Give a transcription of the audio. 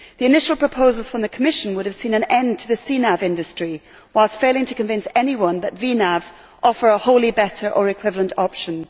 The initial proposals from the Commission would have seen an end to the CNAV industry, whilst failing to convince anyone that VNAVs offer a wholly better or equivalent option.